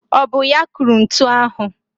Ọ bụ ya kụrụ ntu ahụ?